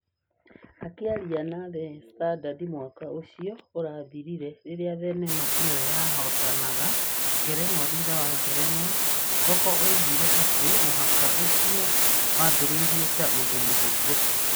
Akĩaria na The Standard mwaka ũcio ũrathirire rĩrĩa thenema ĩo ya hootanaga ngerenwa thutha wa ngerenwa, Soko oigire atĩ mũthako ũcio wambĩrĩirie ta ũndũ mũhũthũ.